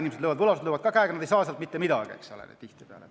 Võlausaldajad löövad käega, nad ei saa tihtipeale mitte midagi.